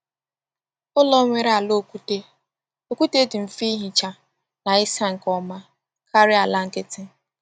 Ụlọ nwere ala okwute okwute dị mfe ihicha na ịsa nke ọma karịa ala nkịtị.